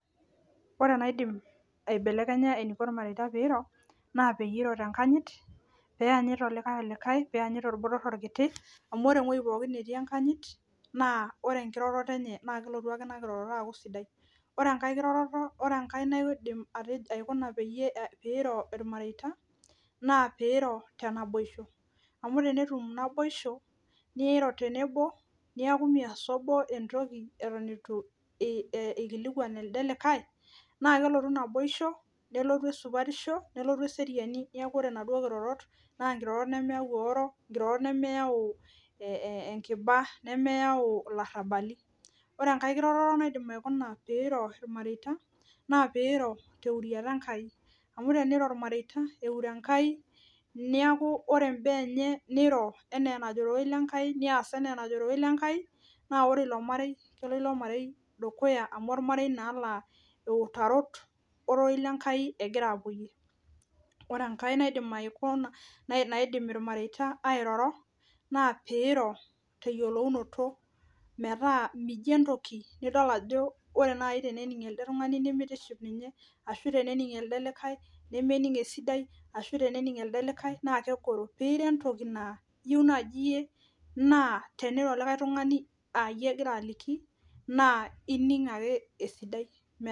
Ore enaidim eibelekenya eneiko ilmareita peiro, naa peyie iro tenkanyit, peyanyit olikae olikae, peyanyit olbotor olkiti, amu ore ewoji pookin netii enkanyit naa ore enkiroroto enye naa kelotu ake aaku ina kiroroto enye sidai. ore enkae naidim aikuna peiro ilmareita, naa piiro tenaiboisho, amu ore teneiro tenaiboisho niro tenebo neeku meas abo esiai eitu eliki elde likae, naa kelotu naboisho, nelotu esupatisho nelotu, nelotu eseriani, neeku ore inaduo kirorot neeku inkirorot nemeyau eoro, nemeyau enkiba nemeyau elarabali. Ore enkae, enkae kiroroto naidim atejo peiro ilmareita naapeiro teuriata Enkai, amu teneiro ilmareita eure Enkai, neeku ore imbaa enye niro enaa enajo orerei lenkai neas enaa enajo orerei lenkai, naa ore ilo marei naa kelo dukuya amu olmarei eutarot orerei lenkai egira aapoyie. Ore enkae naidim ilmareita airoro, naa peiro teyiolounoto mijo entoki nidol naaji ajo tenenink elde tunganak nimitiship ninye, ashu tenenink elde likae nemenink esidai, ashu tenenink elde likae naakegoro. Piijo entoki naa iyieu naaji iyie teniro likae tungani aayie egira aliki naa inkink ake esidai.